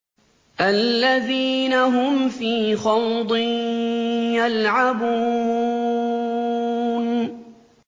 الَّذِينَ هُمْ فِي خَوْضٍ يَلْعَبُونَ